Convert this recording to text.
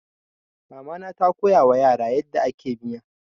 Mama na ta koyawa yara yadda ake miya.